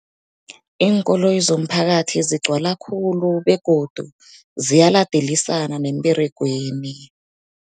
Iinkoloyi zomphakathi zigcwala khulu begodu ziyaladelisana nemberegweni.